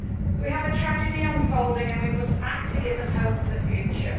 We have a tragedy unfolding and we must act to give them hope for the future.